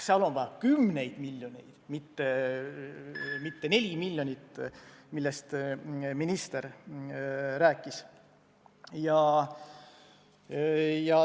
Selleks on vaja kümneid miljoneid, mitte 4 miljonit, millest minister rääkis.